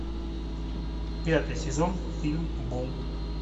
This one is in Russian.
пятый сезон фильм бум